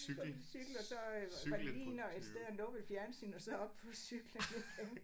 På cykel og så øh var de lige inde et sted og nuppe et fjernsyn og så op på cyklen igen